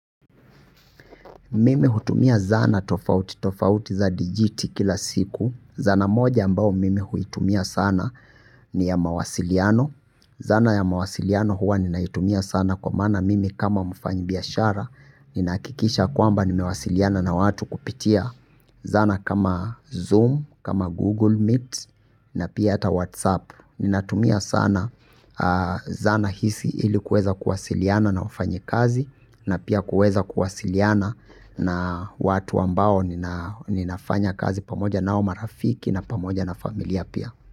Mimi hutumia zana tofauti tofauti za dijiti kila siku. Zana moja ambao mimi huitumia sana ni ya mawasiliano. Zana ya mawasiliano huwa ninaitumia sana kwa mana mimi kama mfanyibiashara. Ninakikisha kwamba nimewasiliana na watu kupitia zana kama Zoom, kama Google Meet na pia ata WhatsApp. Ninatumia sana zana hisi ili kuweza kuwasiliana na wafanyikazi na pia kuweza kuwasiliana na watu ambao ninafanya kazi pamoja nao marafiki na pamoja na familia pia.